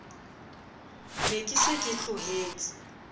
ne ke se ke tlohetse